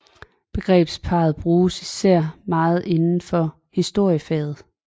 Begrebsparret bruges især meget inden for historiefaget